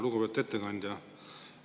Lugupeetud ettekandja!